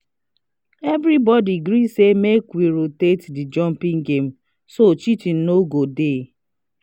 everybody gree say make we rotate the jumping game so cheating no go dey